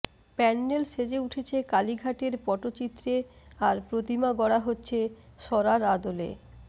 প্যান্ডেল সেজে উঠছে কালীঘাটের পটচিত্রে আর প্রতীমা গড়া হচ্ছে সরার আদলে